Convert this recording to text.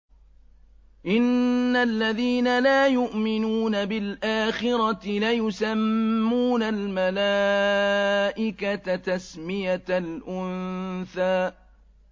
إِنَّ الَّذِينَ لَا يُؤْمِنُونَ بِالْآخِرَةِ لَيُسَمُّونَ الْمَلَائِكَةَ تَسْمِيَةَ الْأُنثَىٰ